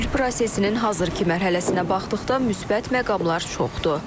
Sülh prosesinin hazırki mərhələsinə baxdıqda müsbət məqamlar çoxdur.